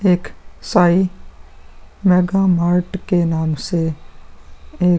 एक Sai mega mart के नाम से एक --